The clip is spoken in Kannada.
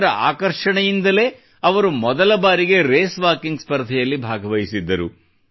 ಇದರ ಆಕರ್ಷಣೆಯಿಂದಲೇ ಅವರು ಮೊದಲ ಬಾರಿಗೆ ರೇಸ್ವಾಕಿಂಗ್ ಸ್ಪರ್ಧೆಯಲ್ಲಿ ಭಾಗವಹಿಸಿದ್ದರು